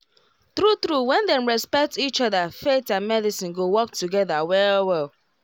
true truewhen dem respect each other faith and medicine go work together well well